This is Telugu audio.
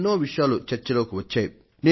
ఎన్నో విషయాలు చర్చలోకి వచ్చాయి